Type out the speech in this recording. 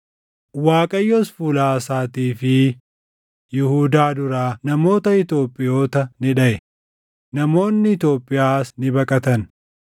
Waaqayyos fuula Aasaatii fi Yihuudaa duraa namoota Itoophiyoota ni dhaʼe; namoonni Itoophiyaas ni baqatan.